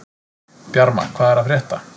Bjarma, hvað er að frétta?